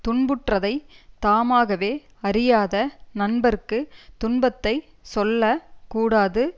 துன்புற்றதைத் தாமாகவே அறியாத நண்பர்க்குத் துன்பத்தை சொல்ல கூடாது